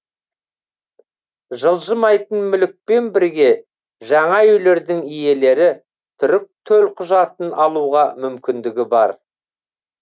жылжымайтын мүлікпен бірге жаңа үйлердің иелері түрік төлқұжатын алуға мүмкіндігі бар